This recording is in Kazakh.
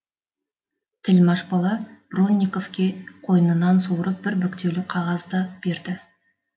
тілмаш бала бронниковке қойнынан суырып бір бүктеулі қағаз да берді